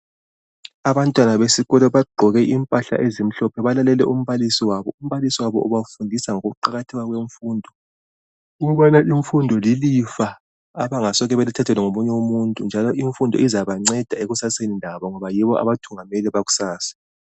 Abantwana besikolo bagqoke impahla ezimhlophe balalele umbalisi wabo .Umbalisi ubafundisa ngokuqakatheka kwemfundo ukubana imfundo lilifa abangasoke balithathelwa ngomunye umuntu njalo imfundo izabanceda ekusaseni labo ngoba yibo abathungameli bakusasa.